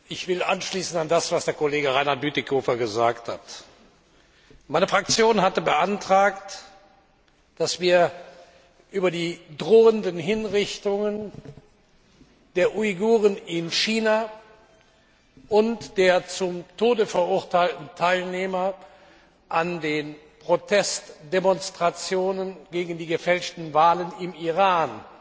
Ich will anschließen an das, was der Kollege Reinhard Bütikofer gesagt hat. Meine Fraktion hatte beantragt, dass wir über die drohenden Hinrichtungen der Uiguren in China und der zum Tode verurteilten Teilnehmer an den Protestdemonstrationen gegen die gefälschten Wahlen im Iran